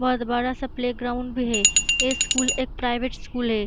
बोत बड़ा सा प्लेग्राउंड भी हे । ये स्कूल एक प्राइवेट स्कूल है।